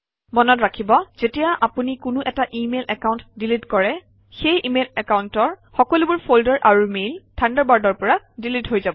মনত ৰাখিব যেতিয়া আপুনি কোনো এটা ইমেইল একাউণ্ট ডিলিট কৰে সেই ইমেইল একাউণ্টৰ সকলোবোৰ ফল্ডাৰ আৰু মেইল থাণ্ডাৰবাৰ্ডৰ পৰা ডিলিট হৈ যাব